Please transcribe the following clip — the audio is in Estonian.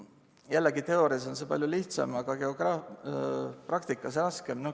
Jällegi, teoorias on see palju lihtsam, aga praktikas raskem.